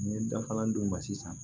N ye dafalan d'u ma sisan